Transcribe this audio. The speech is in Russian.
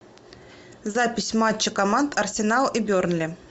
запись матча команд арсенал и бернли